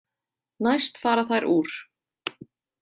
Næst fara þær úr.